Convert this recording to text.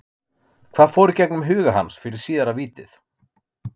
Hvað fór í gegnum huga hans fyrir síðara vítið?